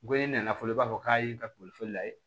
Ko i nana fɔlɔ i b'a fɔ k'a ye i ka boli layɛ